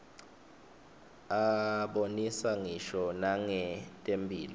abonisa ngisho nangetemphilo